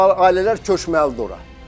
Bu ailələr köçməlidir ora.